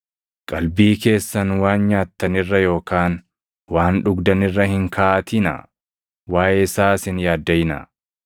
Qalbii keessan waan nyaattan irra yookaan waan dhugdan irra hin kaaʼatinaa; waaʼee isaas hin yaaddaʼinaa.